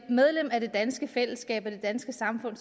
medlem af det danske fællesskab det danske samfund